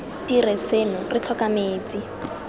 dire seno re tlhoka metsi